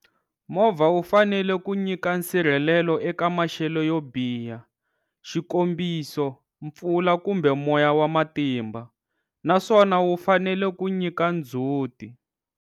Movha wu fanele ku nyika nsirhelelelo eka maxelo yo biha xikombiso, mpfula kumbe moya wa matimba, naswona wu fanele ku nyika ndzhuti.